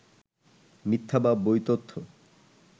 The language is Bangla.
মিথ্যা বা বৈতথ্য